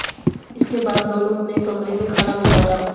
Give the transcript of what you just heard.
इसके बाद दोनों ने कमरे में खाना मंगवाया